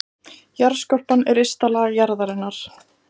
Jarðskorpan er ysta lag jarðarinnar.